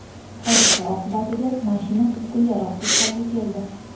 Hodisa oqibatida mashina butkul yaroqsiz holga keldi.